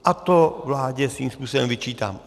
A to vládě svým způsobem vyčítám.